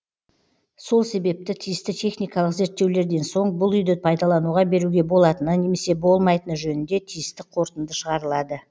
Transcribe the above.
сол себепті тиісті техникалық зерттеулерден соң бұл үйді пайдалануға беруге болатыны немесе болмайтыны жөнінде тиісті қорытынды шығарылады